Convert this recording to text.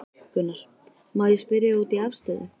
Gunnar: Má ég spyrja út í afstöðu?